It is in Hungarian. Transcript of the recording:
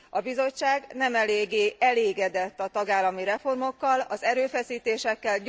A Bizottság nem eléggé elégedett a tagállami reformokkal, az erőfeszítésekkel.